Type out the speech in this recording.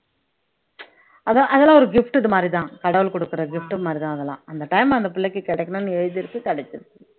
அதான் அதெல்லாம் ஒரு gifted மாதிரிதான் கடவுள் கொடுக்கிற gift மாதிரிதான் அதெல்லாம் அந்த time அந்த பிள்ளைக்கு கிடைக்கணும்ன்னு எழுதியிருக்கு கிடைச்சிருக்கு